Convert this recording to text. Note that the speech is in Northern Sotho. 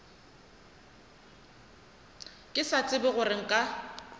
ke sa tsebe gore nka